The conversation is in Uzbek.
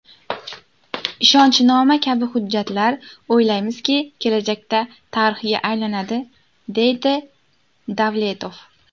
Ishonchnoma kabi hujjatlar, o‘ylaymizki, kelajakda tarixga aylanadi”, deydi Davletov.